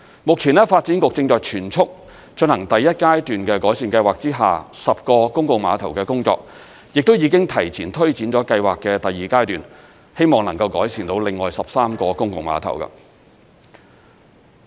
目前，發展局正在全速進行第一階段的改善計劃之下10個公共碼頭的工作，亦都已經提前推展了計劃的第二階段，希望能夠改善到另外13個公共碼頭。